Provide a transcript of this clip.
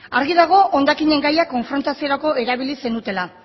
argi dago hondakinen gaiak konfrontaziorako erabili zenutela